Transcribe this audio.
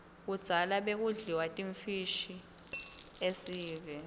kudzala bekudliwa timfishi kuiesive